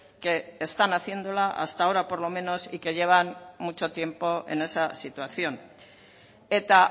que están haciéndola hasta ahora por lo menos y que llevan mucho tiempo en esa situación eta